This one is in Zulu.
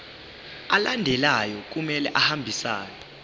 alandelayo kumele ahambisane